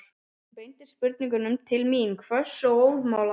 Hún beindi spurningunum til mín, hvöss og óðamála.